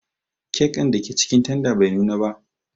kek dake cikin tanda bai nuna ko ba.